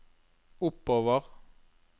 oppover